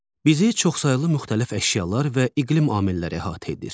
Bizi çoxsaylı müxtəlif əşyalar və iqlim amilləri əhatə edir.